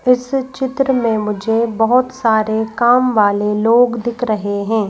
इस चित्र में मुझे बहोत सारे काम वाले लोग दिख रहे हैं।